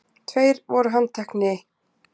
Tveir voru handtekni